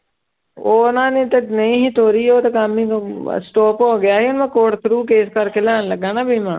ਉਹਨਾਂ ਨੇ ਤੇ ਨਹੀਂ ਸੀ ਤੋਰੀ ਉਹ ਤੇ ਕੰਮ stop ਹੋ ਗਿਆ ਸੀ ਮੈਂ ਕੋਰਟ through ਕੇਸ ਕਰਕੇ ਲੈਣ ਲੱਗਾ ਨਾ ਬੀਮਾ।